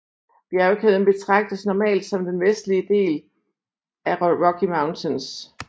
Bjergkæden betragtes normalt som den vestligste del af Rocky Mountains